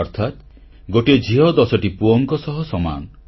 ଅର୍ଥାତ୍ ଗୋଟିଏ ଝିଅ ଦଶଟି ପୁଅଙ୍କ ସହ ସମାନ